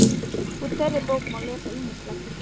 Úr þeirri bók má lesa ýmislegt.